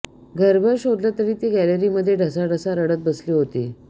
घरभर शोधलं तर ती गॅलरीमध्ये ढसाढसा रडत बसली होती